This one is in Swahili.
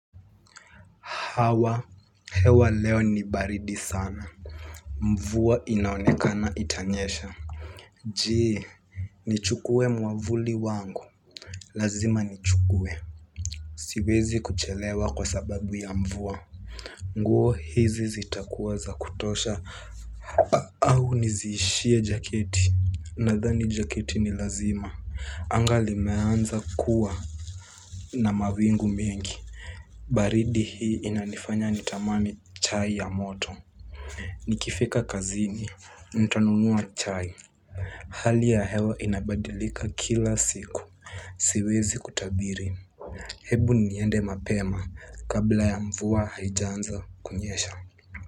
Hawa, hewa leo ni baridi sana. Mvuwa inaonekana itanyesha. Je, nichukue mwavuli wangu. Lazima nichukue. Siwezi kuchelewa kwa sababu ya mvuwa. Nguo hizi zitakuwa za kutosha. Au niziishie jaketi. Nadhani jaketi ni lazima. Anga limeanza kuwa na mawingu mingi. Baridi hii inanifanya nitamani chai ya moto. Nikifika kazini, nitanunuwa chai. Hali ya hewa inabadilika kila siku. Siwezi kutabiri. Hebu niende mapema kabla ya mvua haijanza kunyesha.